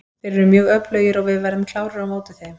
Þeir eru mjög öflugir og við verðum klárir á móti þeim.